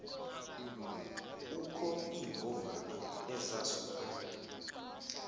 kukho iimbovane ezasuka